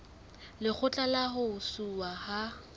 lekgotla la ho ntshuwa ha